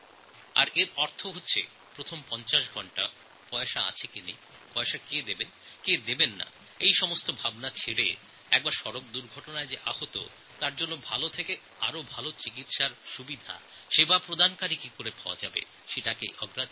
আমি দুর্ঘটনাপরবর্তী প্রথম পঞ্চাশ ঘণ্টার জন্য একটা ক্যাশলেস্ চিকিৎসা ব্যবস্থার কথা ভাবছি আহত ব্যক্তির কাছে পয়সা আছে কি নেই কে পয়সা দেবে কে দেবে না এই সমস্ত চিন্তা ছেড়ে আহত ব্যক্তি কীভাবে ভাল স্বাস্থ্য পরিষেবা পাবেন প্রাথমিক চিকিৎসা পাবেন সেটাই দেখা হবে